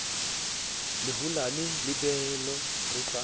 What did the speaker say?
le holane lebelo re sa